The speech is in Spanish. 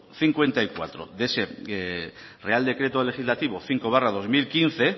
cincuenta y cuatro de ese real decreto legislativo cinco barra dos mil quince